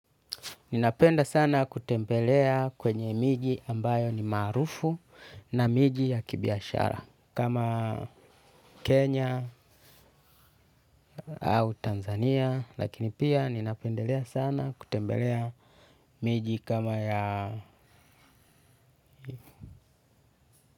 Ninapenda sana kutembelea kwenye miji ambayo ni maarufu na miji ya kibiashara kama Kenya au Tanzania lakini pia ninapendelea sana kutembelea miji kama ya.